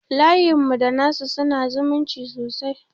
Iayenmu da nasu su na zumunci sosai